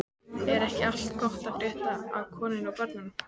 Er ekki allt gott að frétta af konunni og börnunum?